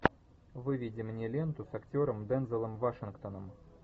выведи мне ленту с актером дензелом вашингтоном